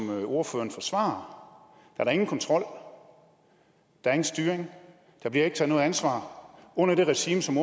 ordføreren forsvarer er der ingen kontrol og styring og der bliver ikke taget ansvar under det regime som